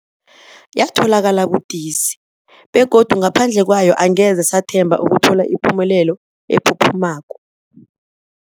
Yatholakala budisi, begodu ngaphandle kwayo angeze sathemba ukuthola ipumelelo ephuphumako.